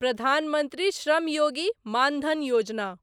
Pradhan Mantri Shram Yogi Maan Dhan Yojana